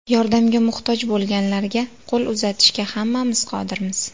Yordamga muhtoj bo‘lganlarga qo‘l uzatishga hammamiz qodirmiz.